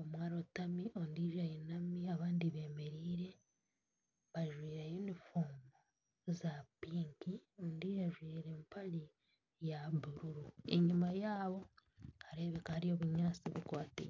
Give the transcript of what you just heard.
omwe arotami ondiijo ayinami abandi beemeriire, bajwire yunifoomu za piki ondiijo ajwire empare ya bururu, enyima yaabo nihareebekayo obunyatsi tibukwatiine